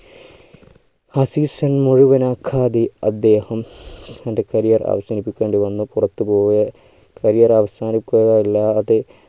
ആ season മുഴുവനും അദ്ദേഹം തൻ്റെ career അവസാനിപ്പിക്കേണ്ടിവന്നു പുറത്തു പോയി career അവസാനിക്കുക അല്ലാതെ